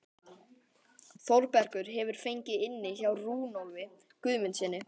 Þórbergur hefur fengið inni hjá Runólfi Guðmundssyni að